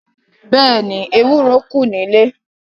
Bẹ́ẹ̀ni, ewúro kù nílé.